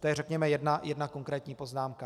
To je, řekněme, jedna konkrétní poznámka.